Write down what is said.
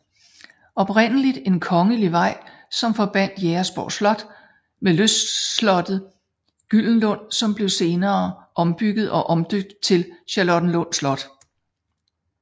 Oprindeligt en kongelig vej som forbandt Jægersborg Slot med lystslottet Gyldenlund som blev senere ombygget og omdøbt til Charlottenlund Slot